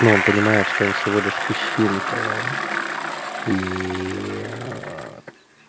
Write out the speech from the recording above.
он понимает что он всего лишь песчинка ии